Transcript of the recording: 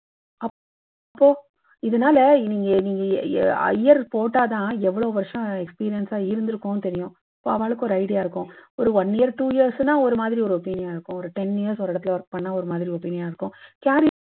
so இதுனால நீங்நீங்க year போட்டா தான் எவ்வளவு வருஷம் experience இருந்துருக்கும்னு தெரியும். ஆவாளுக்கும் ஒரு idea தெரியும். ஒரு one year two years னா ஒரு மாதிரி idea ஆவாளுக்கு தெரியும். ஒரு ten years ஒரு இடத்துல work பண்ணினா ஒரு மாதிரி opinion னா இருக்கும்.